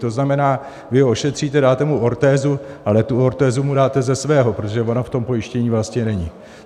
To znamená, vy ho ošetříte, dáte mu ortézu, ale tu ortézu mu dáte ze svého, protože ona v tom pojištění vlastně není.